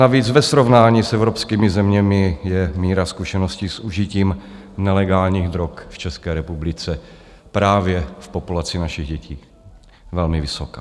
Navíc ve srovnání s evropskými zeměmi je míra zkušeností s užitím nelegálních drog v České republice právě v populaci našich dětí velmi vysoká.